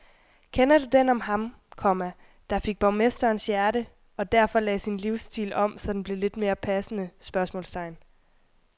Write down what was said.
Kender du den om ham, komma der fik borgmesterens hjerte og derfor lagde sin livsstil om så den blev lidt mere passende? spørgsmålstegn